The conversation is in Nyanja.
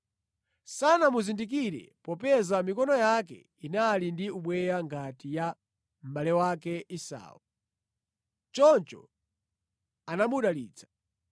Sanamuzindikire, popeza mikono yake inali ndi ubweya ngati ya mʼbale wake Esau; choncho anamudalitsa.